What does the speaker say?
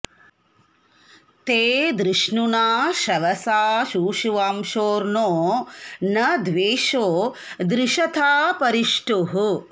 ते धृ॒ष्णुना॒ शव॑सा शूशु॒वांसोऽर्णो॒ न द्वेषो॑ धृष॒ता परि॑ ष्ठुः